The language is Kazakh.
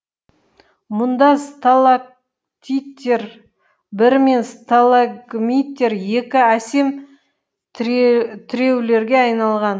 мұнда сталактиттер бір мен сталагмиттер екі әсем тіреулерге айналған